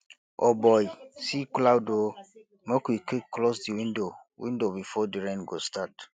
o boy see cloud o make we quick close di window window before di rain go start